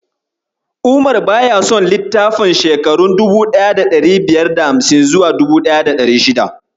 Umar baya son litattafan shekarun 1550s zuwa 1600s.